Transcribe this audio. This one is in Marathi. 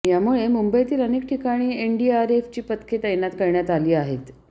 यामुळे मुंबईतील अनेक ठिकाणी एनडीआरएफची पथकं तैनात करण्यात आली आहेत